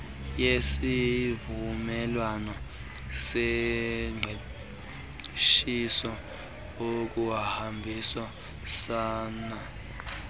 yesivumelwano sengqeshiso ukuhambisana